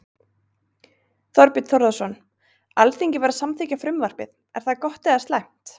Þorbjörn Þórðarson: Alþingi var að samþykkja frumvarpið, er það gott eða slæmt?